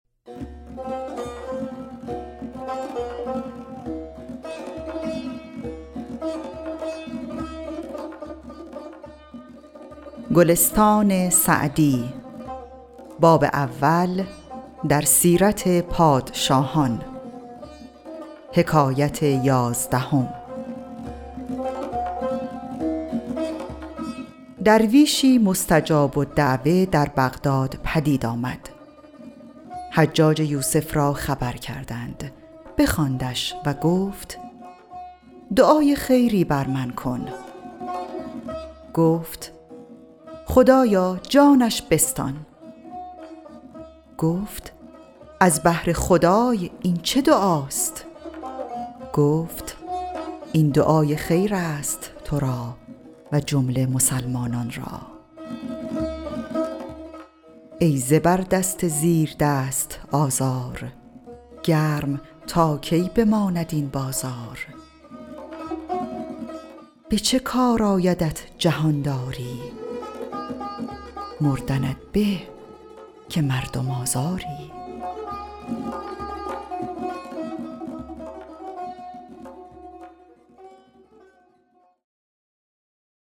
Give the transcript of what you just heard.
درویشی مستجاب الدعوة در بغداد پدید آمد حجاج یوسف را خبر کردند بخواندش و گفت دعای خیری بر من بکن گفت خدایا جانش بستان گفت از بهر خدای این چه دعاست گفت این دعای خیر است تو را و جمله مسلمانان را ای زبردست زیردست آزار گرم تا کی بماند این بازار به چه کار آیدت جهانداری مردنت به که مردم آزاری